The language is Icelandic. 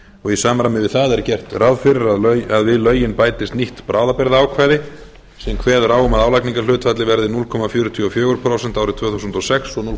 og í samræmi við það er gert ráð fyrir að við lögin bætist nýtt bráðabirgðaákvæði sem kveður á um að álagningarhlutfallið verði núll komma fjörutíu og fjögur prósent árið tvö þúsund og sex og núll